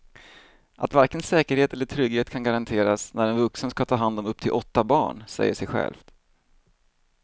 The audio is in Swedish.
Att varken säkerhet eller trygghet kan garanteras när en vuxen ska ta hand om upp till åtta barn säger sig självt.